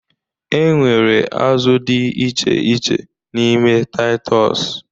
E nwere azụ dị iche iche n'ime Taịtọs